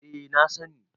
eh na sani